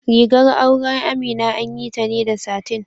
Rigar auren Amina an yi ta ne da satin.